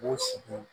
K'u sigi